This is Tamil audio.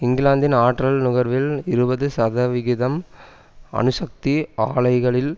இங்கிலாந்தின் ஆற்றல் நுகர்வில் இருபது சதவிகிதம் அணுசக்தி ஆலைகளில்